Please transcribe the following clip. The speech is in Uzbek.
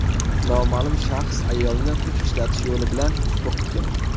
Noma’lum shaxs ayolni kuch ishlatish yo‘li bilan qo‘rqitgan.